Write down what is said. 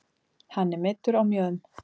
Hann er meiddur á mjöðm